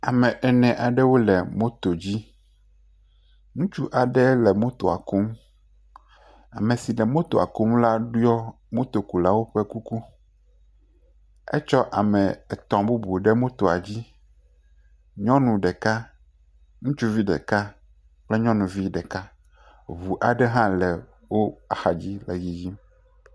Ame ene aɖewo le moto dzi, ŋutsu aɖe le motoa kum, ame si le motoa kum la ɖɔ motokulawo ƒe kuku etsɔ ame etɔ̃ bubuwo ɖe moto dzi, nyɔnu ɖeka, ŋutsuvi ɖeka kple nyɔnuvi ɖeka, ŋu aɖe hã le wo axa dzi yiyim.